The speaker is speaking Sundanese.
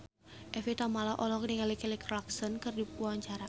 Evie Tamala olohok ningali Kelly Clarkson keur diwawancara